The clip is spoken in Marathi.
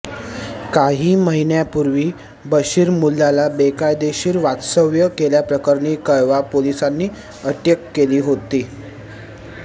काही महिन्यांपूर्वी बशीरमुल्लाला बेकायदेशीर वास्तव्य केल्याप्रकरणी कळवा पोलिसांनी अटक केली होती